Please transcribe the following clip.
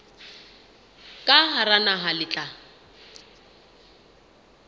ka hara naha le tla